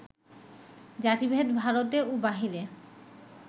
জাতিভেদ ভারতে ও বাহিরে